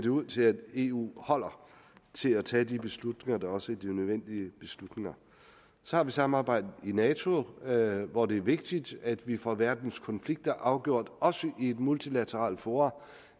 ud til at eu holder til at tage de beslutninger der også er de nødvendige beslutninger så har vi samarbejdet i nato hvor det er vigtigt at vi får verdens konflikter afgjort også i et multilateralt forum